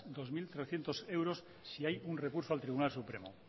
dos mil trescientos euros si hay un recurso al tribunal supremo